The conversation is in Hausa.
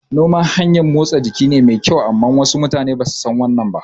Noma hanyan motsa jiki ne mai kyau amma wasu mutane basu san wannan ba